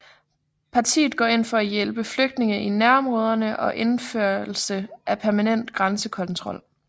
Paritet går ind for hjælp til flygtninge i nærområderne og indførelse af permanent grænsekontrol